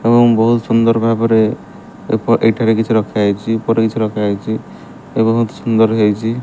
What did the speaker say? ଏବଂ ବହୁତ ସୁନ୍ଦର ଭାବରେ ଏକ ଏଇଠାରେ କିଛି ରଖା ହେଇଚି ଉପରେ କିଛି ରଖା ହେଇଚି ଏ ବହୁତ ସୁନ୍ଦର ହେଇଚି ।